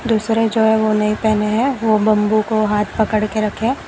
दूसरे जो है वो नहीं पहने हैं वो बंबू को हाथ पकड़ के रखें।